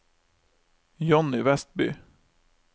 Johnny Westby